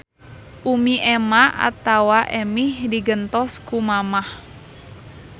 Umi ema atawa emih di gentos ku mamah